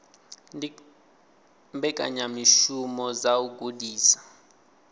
ndi mbekanyamishumo dza u gudisa